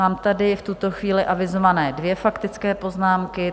Mám tady v tuto chvíli avizované dvě faktické poznámky.